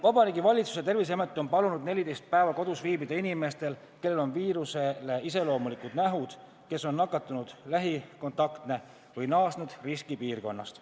Vabariigi Valitsus ja Terviseamet on palunud 14 päeva kodus viibida inimestel, kellel on viirusele iseloomulikud nähud, kes on nakatunu lähikontaktne või on naasnud riskipiirkonnast.